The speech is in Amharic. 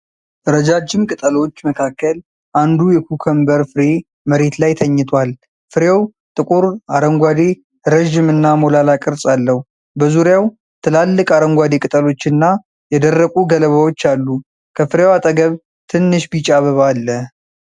ረጃጅም ቅጠሎች መካከል አንዱ የኩከምበር ፍሬ መሬት ላይ ተኝቷል። ፍሬው ጥቁር አረንጓዴ፣ ረዥምና ሞላላ ቅርፅ አለው። በዙሪያው ትልልቅ አረንጓዴ ቅጠሎችና የደረቁ ገለባዎች አሉ። ከፍሬው አጠገብ ትንሽ ቢጫ አበባ አለ።